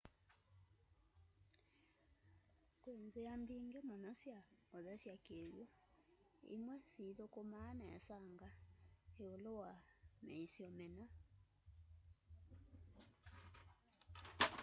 kwĩ nzĩa mbingĩ mũno sya ũthesya kĩw'ũ imwe sithũkũmaa nesanga ĩũlũ wa mĩisyo mĩna